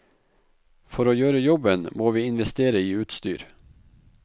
For å gjøre jobben må vi investere i utstyr.